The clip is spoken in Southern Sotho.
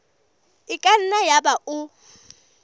e ka nna yaba o